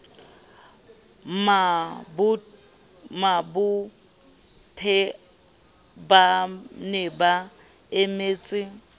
mabophe ba ne ba emeletse